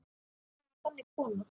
Hún var þannig kona.